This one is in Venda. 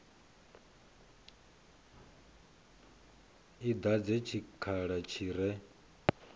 i dadze tshikhala tshi re